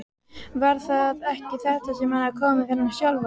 Var það ekki þetta sem hafði komið fyrir hann sjálfan?